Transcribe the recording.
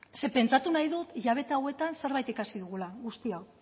ze pentsatu nahi dut hilabete hauetan zerbait ikasi dugula guztiok